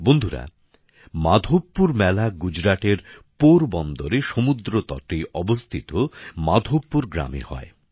বন্ধুরা মাধবপুর মেলা গুজরাটের পোরবন্দরে সমুদ্রতটে অবস্থিত মাধবপুর গ্রামে হয়